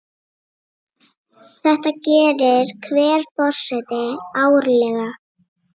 Þetta gerir hver forseti árlega.